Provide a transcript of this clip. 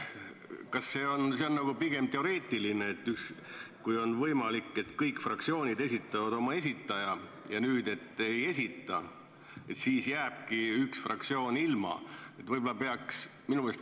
Kas see on nagu pigem teoreetiline, kui on võimalik, et kõik fraktsioonid esitavad oma esindaja ja nüüd üks ei esita, et siis jääbki üks fraktsioon ilma?